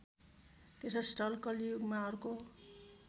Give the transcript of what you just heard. तीर्थस्थल कलियुगमा अर्को